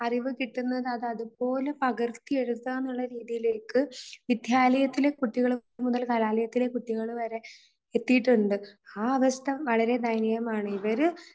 അറിവ് കിട്ടുന്നത് അത് അതുപോലെ പകർത്തി എടുക്കുക എന്നുള്ള രീതിയിലേക്ക് വിദ്യാലയത്തിലെ കുട്ടികൾ മുതൽ കലാലയത്തിലെ കുട്ടികൾ വരെ എത്തിയിട്ടുണ്ട്. ആ അവസ്ഥ വളരെ ദയനീയമാണ്. ഇവര്